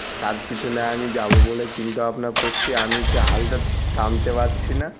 তার পিছনে আমি যাব বলে চিন্তা ভাবনা করছি। আমি যে হাল টা টানতে পারছি না।